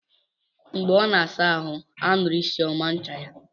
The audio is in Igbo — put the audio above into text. Mgbe ọ na-asa ahụ, a nụrụ isi ọma ncha ya.